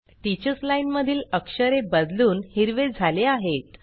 teachers line मधील अक्षरे बदलून हिरवे झाले आहेत